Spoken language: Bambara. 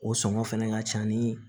O sɔngɔ fɛnɛ ka ca ni